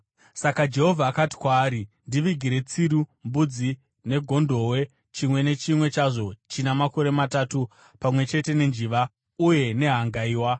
Saka Jehovha akati kwaari, “Ndivigire tsiru, mbudzi negondobwe, chimwe nechimwe chazvo china makore matatu pamwe chete nenjiva uye nehangaiwa.”